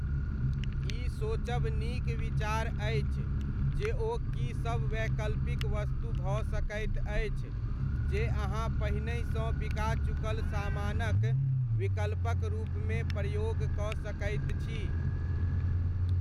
ई सोचब नीक विचार अछि जे ओ की सब वैकल्पिक वस्तु भऽ सकैत अछि जे अहाँ पहिनहिसँ बिका चुकल सामानक विकल्पक रूपमे प्रयोग कऽ सकैत छी।